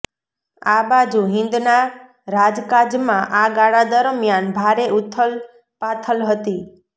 આ બાજુ હિંદના રાજકાજમાં આ ગાળા દરમિયાન ભારે ઊથલપાથલ હતી